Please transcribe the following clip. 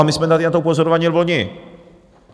A my jsme tady na to upozorňovali vloni.